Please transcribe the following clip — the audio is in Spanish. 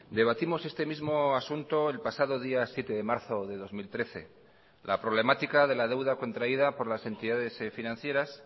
debatimos este mismo asunto el pasado día siete de marzo de dos mil trece la problemática de la deuda contraída por las entidades financieras